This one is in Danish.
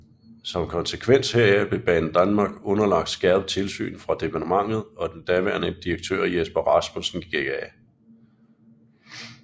Som konsekvens heraf blev Banedanmark underlagt skærpet tilsyn fra departementet og den daværende direktør Jesper Rasmussen gik af